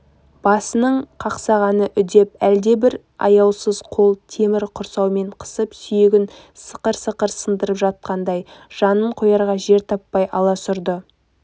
басының қақсағаны үдеп әлдебір аяусыз қол темір құрсаумен қысып сүйегін сықыр-сықыр сындырып жатқандай жанын қоярға жер таппай аласұрды